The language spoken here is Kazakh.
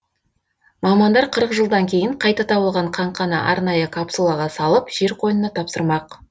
мамандар қырық жылдан кейін қайта табылған қаңқаны арнайы капсулаға салып жер қойынына тапсырмақ